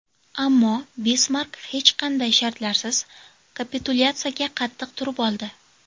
Ammo Bismark hech qanday shartlarsiz kapitulyatsiyaga qattiq turib oldi.